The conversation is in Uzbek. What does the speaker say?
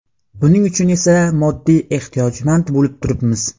Buning uchun esa moddiy ehtiyojmand bo‘lib turibmiz.